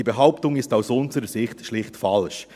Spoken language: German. Diese Behauptung ist aus unserer Sicht schlicht falsch.